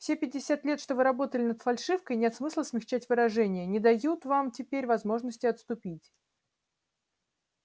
все пятьдесят лет что вы работали над фальшивкой нет смысла смягчать выражения не дают вам теперь возможности отступить